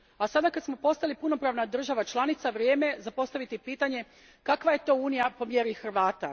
Sada kada smo postali punopravna država članica, vrijeme je za postaviti pitanje Kakva je to Unija po mjeri Hrvata?